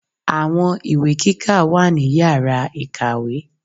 Àwọn ìwé kíkà wà ní Yàrá ìkàwé.